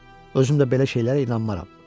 Özüm də belə şeylərə inanmaram.